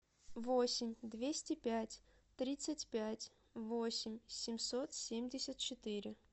восемь двести пять тридцать пять восемь семьсот семьдесят четыре